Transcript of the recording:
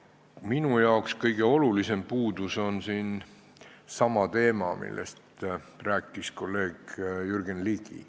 Minu arvates on kõige olulisem puudus siin see, millest rääkis kolleeg Jürgen Ligi.